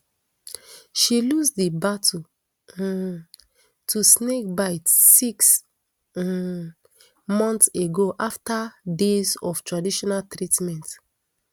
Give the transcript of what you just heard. she lose di battle um to snakebite six um months ago after days of traditional treatment